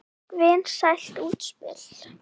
Vinsælt útspil.